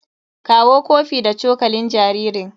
Kawo kofi da cokalin jaririn.